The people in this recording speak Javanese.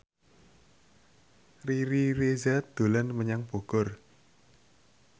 Riri Reza dolan menyang Bogor